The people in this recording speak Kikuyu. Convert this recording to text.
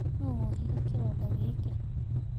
Noũ wohire kĩronda gĩkĩĩ?.